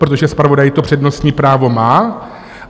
Protože zpravodaj to přednostní právo má.